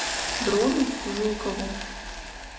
дрону жукову